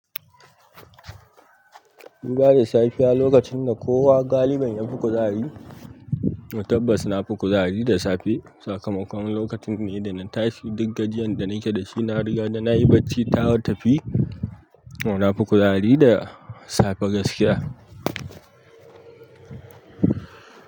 Duɓa da safiya lokacin da kowa galibin ya fi kuzari. Na tabbatar na fi kuzari da safe. Sakamakon lokaci ne da na tashi duk gajiyan da nake da shi na riga da nayi bacci ta tafi. Na fi kuzari da safe gaskiya.